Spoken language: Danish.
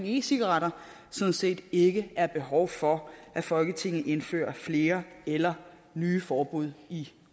e cigaretter sådan set ikke er behov for at folketinget indfører flere eller nye forbud i